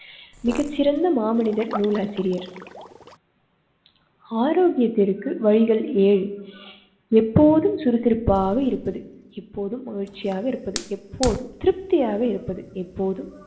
மிகச் சிறந்த மாமனிதர் நூல் ஆசிரியர். ஆரோக்கியத்திற்கு வழிகல் ஏழு எப்போதும் சுறுசுறுப்பாக இருப்பது இப்போதும் மகிழ்ச்சியாக இருப்பது எப்போதும் திருப்தியாக இருப்பது எப்போதும்